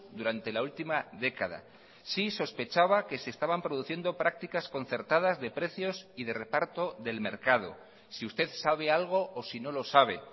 durante la última década si sospechaba que se estaban produciendo prácticas concertadas de precios y de reparto del mercado si usted sabe algo o si no lo sabe